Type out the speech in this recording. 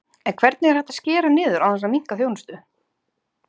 En hvernig er hægt að skera niður án þess að minnka þjónustu?